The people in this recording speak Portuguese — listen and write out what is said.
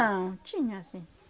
Não, tinha sim.